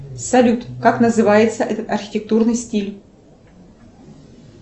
салют как называется этот архитектурный стиль